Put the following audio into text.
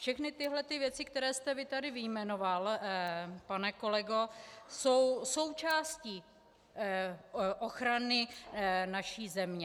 Všechny tyhle ty věci, které vy jste tady vyjmenoval, pane kolego, jsou součástí ochrany naší země.